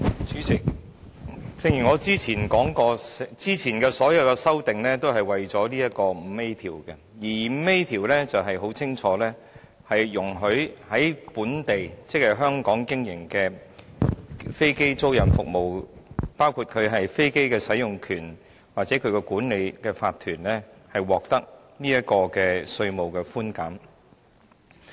主席，正如我早前所說，早前所有修訂都是涉及《2017年稅務條例草案》的第 5A 條，該條很清楚是容許在本地經營的飛機租賃服務，包括飛機使用權或管理法團獲得稅務寬減。